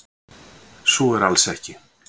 Svo er alls ekki.